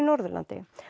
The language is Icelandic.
Norðurlandi